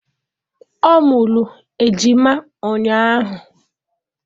Ọ mụrụ ejima ụnyahụ